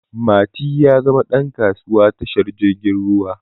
Mati ya zama ɗan kasuwa tashar jirgin ruwa